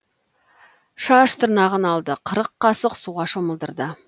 шаш тырнағын алды қырық қасық суға шомылдырды